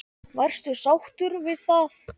Varstu sáttur við það?